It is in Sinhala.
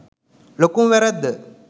ලොකුම වැරැද්ද